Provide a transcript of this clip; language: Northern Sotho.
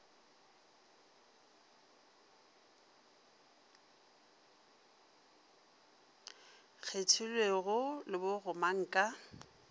kgethelwego le bo gomang ka